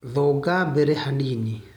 Thonga mbere hanini.